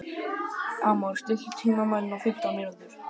Amor, stilltu tímamælinn á fimmtán mínútur.